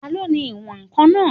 Taló ni ní ìwọ̀n-ǹkan náà?